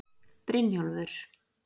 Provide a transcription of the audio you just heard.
Brynjólfur